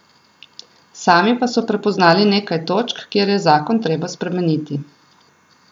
Sami pa so prepoznali nekaj točk, kjer je zakon treba spremeniti.